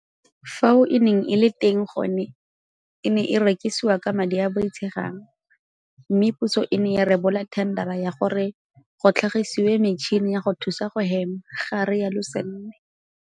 Fao e neng e le teng gone e ne e rekisiwa ka madi a a boitshegang mme puso e ne ya rebola thendara ya gore go tlhagisiwe metšhini ya go thusa go hema, ga rialo Sanne.